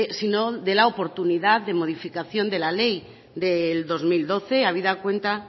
sino de la oportunidad de modificación de la ley del dos mil doce habida cuenta